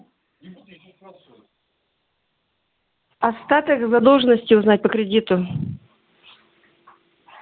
остаток задолженности узнать по кредиту